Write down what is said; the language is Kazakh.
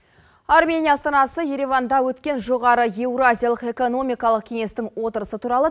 армения астанасы ереванда өткен жоғары еуразиялық экономикалық кеңестің отырысы туралы